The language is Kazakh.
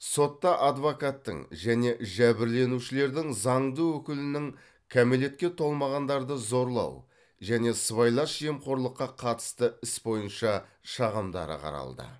сотта адвокаттың және жәбірленушілердің заңды өкілінің кәмелетке толмағандарды зорлау және сыбайлас жемқорлыққа қатысты іс бойынша шағымдары қаралды